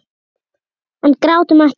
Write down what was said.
En grátum ekki.